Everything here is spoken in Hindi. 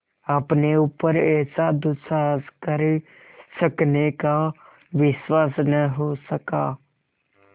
अपने ऊपर ऐसा दुस्साहस कर सकने का विश्वास न हो सका